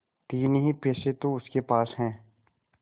तीन ही पैसे तो उसके पास हैं